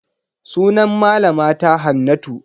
Sunan malama ta Hannatu.